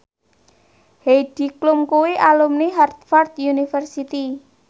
Heidi Klum kuwi alumni Harvard university